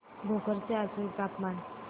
भोकर चे आजचे तापमान